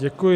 Děkuji.